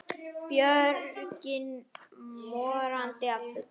Björgin morandi af fuglum.